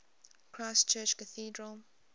christ church cathedral